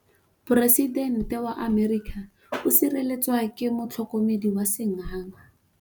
Poresitêntê wa Amerika o sireletswa ke motlhokomedi wa sengaga.